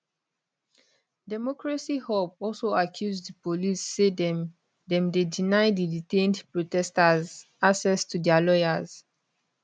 democracy hub also accuse di police say dem dem dey deny di detained protesters access to dia lawyers